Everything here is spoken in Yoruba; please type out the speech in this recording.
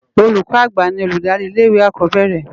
Ólúkò ágbá ni olúdári ilé iwé ákòbèérè